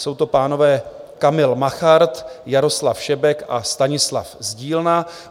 Jsou to pánové Kamil Machart, Jaroslav Šebek a Stanislav Zdílna.